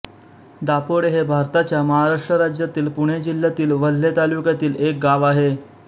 दापोडे हे भारताच्या महाराष्ट्र राज्यातील पुणे जिल्ह्यातील वेल्हे तालुक्यातील एक गाव आहे